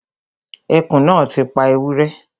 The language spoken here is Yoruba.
Ẹkùn náà ti pa ewúrẹ́